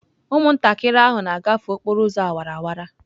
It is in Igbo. Ụmụntakịrị ahụ na-agafe okporo ụzọ awara awara.